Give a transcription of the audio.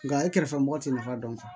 Nka e kɛrɛfɛ mɔgɔ tɛ nafa dɔn